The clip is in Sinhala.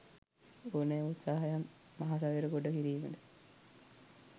ඕනෑම උත්සාහයක් මහසයුර ගොඩ කිරීමට